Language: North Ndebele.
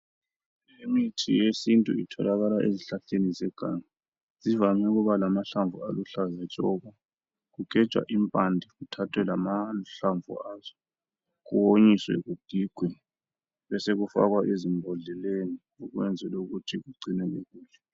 Imithi yesintu itholakala ezihlahleni zeganga zivame ukuba lamahlamvu aluhlaza tshoko kugejwa impande kuthathwe lamahlamvu azo kuwonyiswe kugigwe kube sokufakwa ezimbodleleni ukwenzela ukuthi ugcineke kuhle.